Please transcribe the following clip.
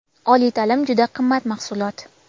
Oliy ta’lim juda qimmat mahsulot.